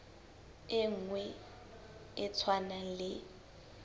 e nngwe e tshwanang le